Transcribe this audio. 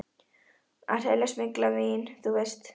Að selja smyglað vín, þú veist.